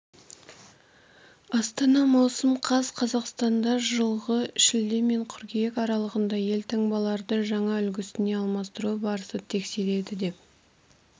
астана маусым қаз қазақстанда жылғы шілде мен қыркүйек аралығында елтаңбаларды жаңа үлгісіне алмастыру барысын тексереді деп